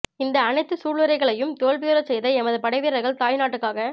இந்த அனைத்து சூளுரைகளை யும் தோல்வியுறச் செய்த எமது படை வீரர்கள் தாய் நாட்டுக்காக